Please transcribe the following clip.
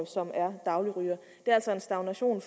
som er dagligrygere det er altså en stagnation